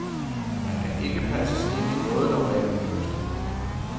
Han kan ikke passes ind i noget normalt mønster.